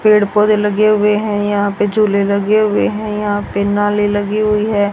पेड़ पौधे लगे हुए हैं यहां पे झूले लगे हुए हैं यहां पे नाले लगी हुई है।